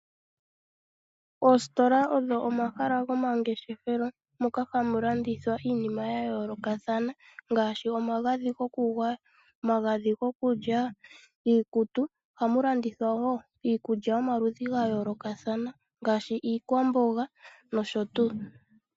Oositola odho omahala gomangeshefelo moka hamu landithwa iinima oyindji ya yoolokathana ngaashi omagadhi goku gwaya nomagadhi gikulya niikutu. Ohamu landithwa wo iikulya yomaludhi gaayolokathana ngaashi iikwamboga nosho tuu.